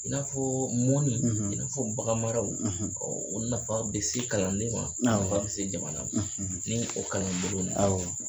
I n'a fɔ mɔnni, i n'a fɔ baganmaraw, o nafa bɛ se kalanden ma a bɛ se jamana ni o kalanbolo